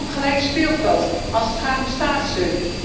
Het gaat ook om gelijk speelveld, als het gaat om staatssteun.